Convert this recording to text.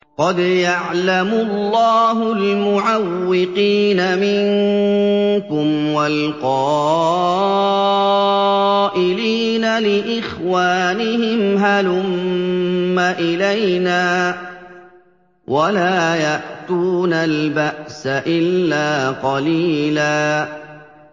۞ قَدْ يَعْلَمُ اللَّهُ الْمُعَوِّقِينَ مِنكُمْ وَالْقَائِلِينَ لِإِخْوَانِهِمْ هَلُمَّ إِلَيْنَا ۖ وَلَا يَأْتُونَ الْبَأْسَ إِلَّا قَلِيلًا